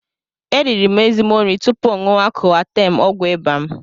E riri m ezigbo nri tupu ṅụwa Koatem ọgwụ ịba m.